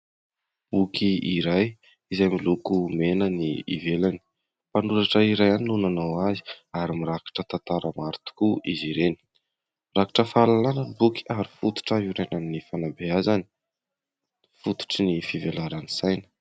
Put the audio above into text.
Boky iray izay miloko mena ny ivelany, mpanoratra iray ihany no nanao azy ary mirakitra tantara maro tokoa izy ireny. Mirakitra fahalalana ny boky ary fototra iorenan'ny fanabeazany, fototry ny fivelaran'ny saina.